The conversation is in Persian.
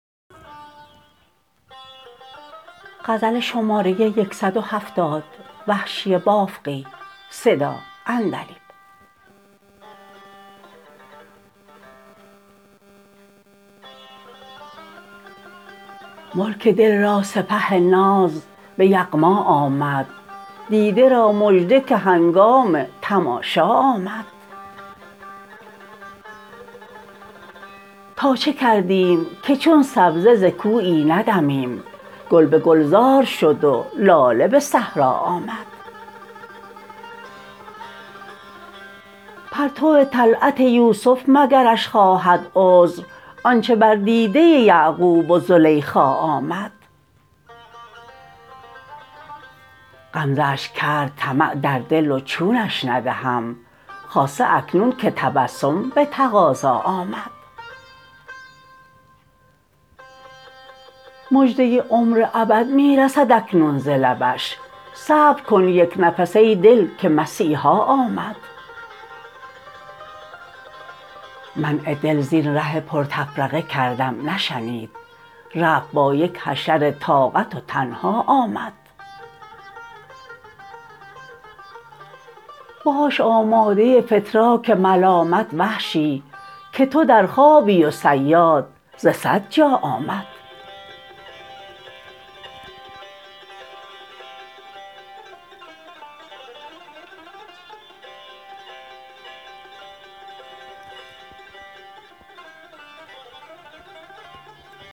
ملک دل را سپه ناز به یغما آمد دیده را مژده که هنگام تماشا آمد تا چه کردیم که چون سبزه ز کویی ندمیم گل به گلزار شد و لاله به صحرا آمد پرتو طلعت یوسف مگرش خواهد عذر آنچه بر دیده یعقوب و زلیخا آمد غمزه اش کرد طمع در دل و چونش ندهم خاصه اکنون که تبسم به تقاضا آمد مژده عمر ابد می رسد اکنون ز لبش صبرکن یک نفس ای دل که مسیحا آمد منع دل زین ره پر تفرقه کردم نشنید رفت با یک حشر طاقت و تنها آمد باش آماده فتراک ملامت وحشی که تو در خوابی و صیاد ز سد جا آمد